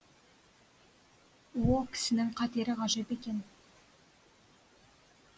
о кісінің қатері ғажап екен